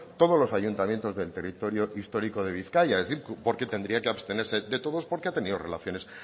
todos los ayuntamientos del territorio histórico de bizkaia porque tendría que abstenerse de todos porque ha tenido relaciones